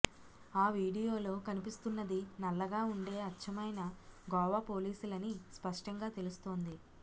ఆ వీడియోలో కనిపిస్తున్నది నల్లగా ఉండే అచ్చమైన గోవా పోలీసులని స్పష్టంగా తెలుస్తోంది